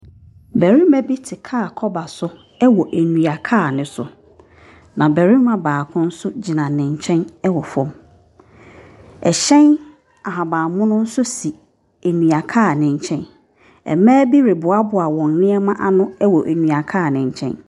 Barima bi te kaa kɔba so wɔ nnua kaa no so. Na barima baako nso gyina ne nkyɛn wɔ fam. Ɛhyɛn ahabammono nso si nnua kaa no nkyɛn. Mmaa bi reboaboa wɔn nneɛma ano wɔ nnua kaa no nkyɛn.